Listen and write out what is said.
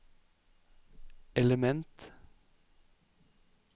element